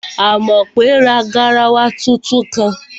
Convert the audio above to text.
Àmọ̀pé ra garawa tuntun kan